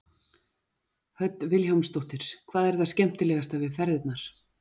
Hödd Vilhjálmsdóttir: Hvað er það skemmtilegasta við ferðirnar?